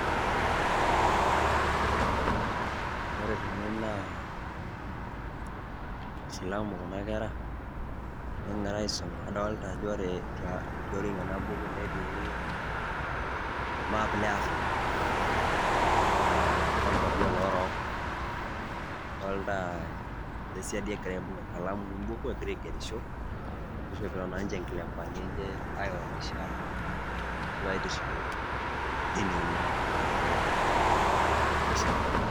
Ore tene naa isilamu kuna kera negira aisoma, adolta ajo ore tioriong' ena buku netii ormap le Afrika lo nkuapi o loorok. Adolta ene siadi egira aibung' enkalamu we mbuku egira aigerisho nishopito naa nje inkilempani enye aionyesha arashu aitishilu dini enye a lo muisilamu.